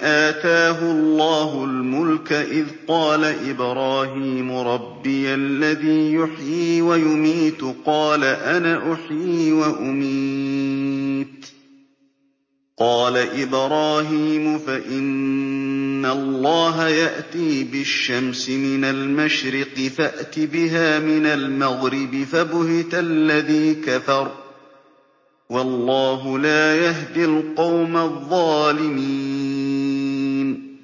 آتَاهُ اللَّهُ الْمُلْكَ إِذْ قَالَ إِبْرَاهِيمُ رَبِّيَ الَّذِي يُحْيِي وَيُمِيتُ قَالَ أَنَا أُحْيِي وَأُمِيتُ ۖ قَالَ إِبْرَاهِيمُ فَإِنَّ اللَّهَ يَأْتِي بِالشَّمْسِ مِنَ الْمَشْرِقِ فَأْتِ بِهَا مِنَ الْمَغْرِبِ فَبُهِتَ الَّذِي كَفَرَ ۗ وَاللَّهُ لَا يَهْدِي الْقَوْمَ الظَّالِمِينَ